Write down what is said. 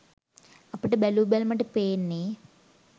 අපට බැලූ බැල්මට පේන්නෙ